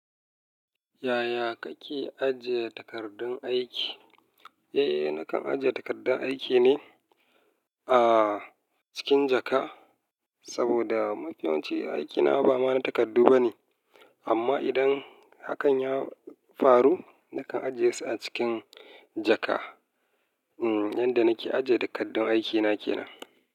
Yaya kake ajiye takardun aiki? Eh, nakan ajiye takardun aiki ne ah cikin jaka, saboda mafiyawanci aikina ba mana takardu bane. Amma idan hakan ya faru, nakan ajiye su a cikin jaka. Hm, yanda nake ajiye takardun aikina ke nan.